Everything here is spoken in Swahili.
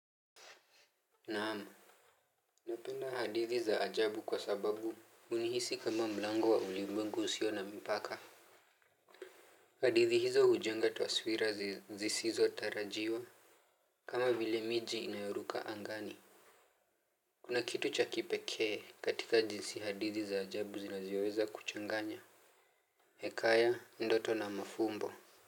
Naam. Napenda hadithi za ajabu kwa sababu hunihisi kama mlango wa ulimwengu usio na mpaka hadithi hizo hujenga taswira zisizotarajiwa. Kama vile miji inayoruka angani kuna kitu cha kipekee katika jinsi hadithi za ajabu zinavyoweza kuchanganya. Hekaya ndoto na mafumbo.